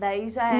Daí já